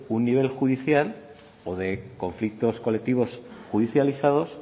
un nivel judicial o de conflictos colectivos judicializados